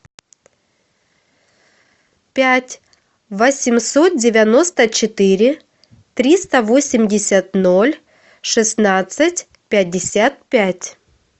пять восемьсот девяносто четыре триста восемьдесят ноль шестнадцать пятьдесят пять